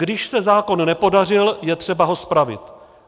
Když se zákon nepodařil, je třeba ho spravit.